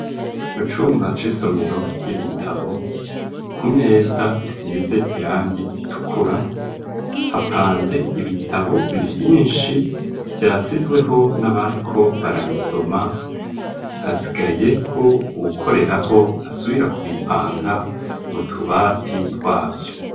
Mu cumba c'isomero ry'ibitabo ku meza isize irangi itukura hapanze ibitabo byinshi byasizweho n'abari ko barabisoma hasigaye ko ukoreraho asubira ku bipanga mu tubati twabyo.